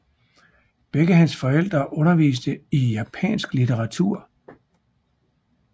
Begge hans forældre underviste i japansk litteratur